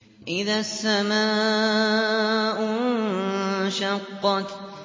إِذَا السَّمَاءُ انشَقَّتْ